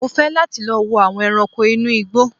Mò fẹ́ láti lọ wo àwọn ẹranko inú igbó